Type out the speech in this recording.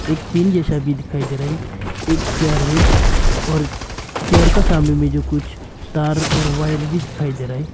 एक पिं जैसा भी दिखाई दे रहा है एक चेयर है और चेयर के सामने में जो कुछ तार और वायर भी दिखाई दे रहा है।